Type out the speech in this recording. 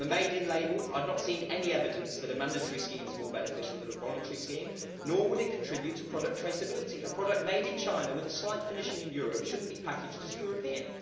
On the Made in' label, I have not seen any evidence that a mandatory scheme is more beneficial than a voluntary scheme, nor would it contribute to product traceability. A product made in China with a slight finishing in Europe should not be packaged as European.